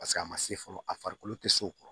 Paseke a ma se fɔlɔ a farikolo tɛ se o kɔrɔ